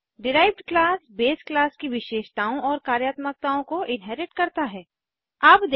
derived class base class की विशेषताओं properties और कार्यात्मकताओं फंक्शनैलिटीज़ को इन्हेरिट करता है